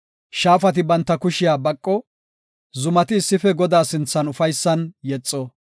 Shaafati banta kushiya baqo; zumati issife Godaa sinthan ufaysan yexo.